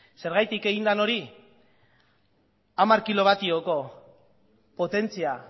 zergatik eginda hori hamar kilowatioko potentzia